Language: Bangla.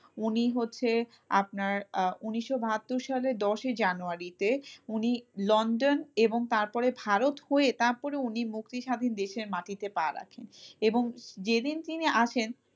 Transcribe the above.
উনি হচ্ছে আপনার আহ উনিশশো বাহাত্তর সালের দশই জানুয়ারিতে উনি লন্ডন এবং তারপরে ভারত হয়ে তারপরে উনি মুক্তিস্বাধীন দেশের মাটিতে পা রাখেন এবং যেদিন তিনি আসেন,